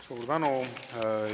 Suur tänu!